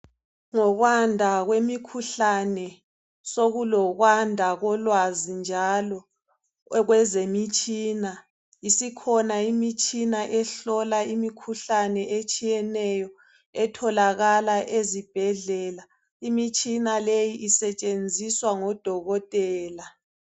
Ngokwanda kwemikhuhlane sekulokwanda kolwazi njalo kwezemitshina. Isikhona imitshina ehlola imikhuhlane etshiyeneyo etholakala ezibhedlela. Imitshina leyi isetshenziswa ngodokotela.